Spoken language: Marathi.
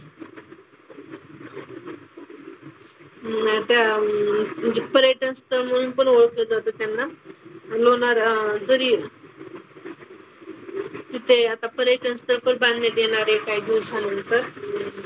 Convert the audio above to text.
अह त्या म्हणजे पर्यटनस्थळ म्हणून पण ओळखलं जातं त्यांना. लोणार जरी तिथे आता पर्यटनस्थळ पण बांधण्यात येणार आहे काही दिवसानंतर.